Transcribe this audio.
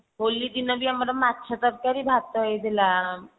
ହୋଲି ଦିନ ବି ଆମର ମାଛ ତରକାରୀ ଭାତ ହେଇଥିଲା